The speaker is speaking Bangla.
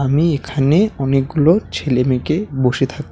আমি এখানে অনেকগুলো ছেলে মেয়েকে বসে থাক--